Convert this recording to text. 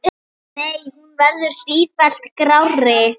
Nei, hún verður sífellt grárri.